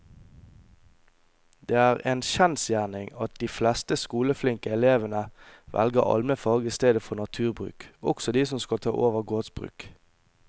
Det er en kjensgjerning at de fleste skoleflinke elevene velger allmennfag i stedet for naturbruk, også de som skal ta over gårdsbruk.